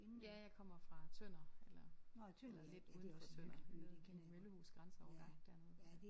Ja jeg kommer fra Tønder eller eller lidt uden for Tønder ved noget der hedder Møllehus Grænseovergang dernede